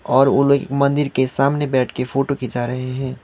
और वो लोग एक मंदिर के सामने बैठ के फोटो खींचा रहे हैं।